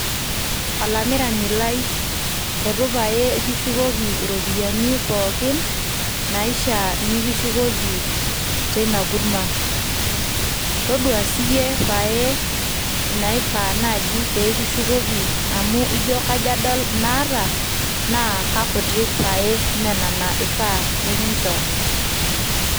Olamirani lai etu pae kishukoki iropiyiani pookin naishiaa nikishukoki teina kurma toduaa siiyie pae naifaa naji pee kishukoki amu ijo kajo adol inaata naa kakutik pae mee nena eifaa nikinchoo